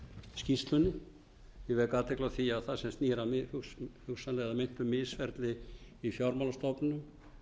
skýrslunni ég vek athygli á því að það sem snýr að hugsanlega að meintu misferli í fjármálastofnunum